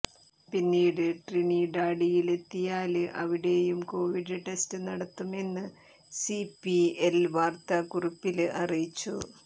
പിന്നീട് ട്രിനിഡാഡിലെത്തിയാല് അവിടെയും കൊവിഡ് ടെസ്റ്റ് നടത്തുമെന്ന് സിപിഎല് വാര്ത്താക്കുറിപ്പില് അറിയിച്ചു